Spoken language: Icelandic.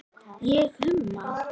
Ég humma.